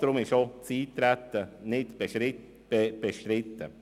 Darum ist auch das Eintreten nicht bestritten.